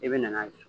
I bɛ na n'a ye